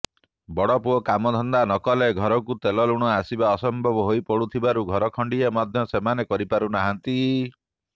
ବଡ଼ପୁଅ କାମଧନ୍ଦା ନକଲେ ଘରକୁ ତେଲଲୁଣ ଆସିବା ଅସମ୍ଭବ ହୋଇପଡ଼ୁଥିବାରୁ ଘରଖଣ୍ଡିଏ ମଧ୍ୟ ସେମାନେ କରିପାରୁନାହାନ୍ତି